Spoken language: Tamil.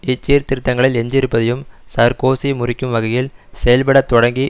இச்சீர்திருத்தங்களில் எஞ்சியிருப்பதையும் சார்க்கோசி முறிக்கும் வகையில் செயல்பட தொடங்கி